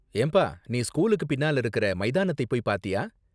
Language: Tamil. ஏம்பா, நீ ஸ்கூலுக்கு பின்னால இருக்கிற மைதானத்தை போய் பாத்தியா?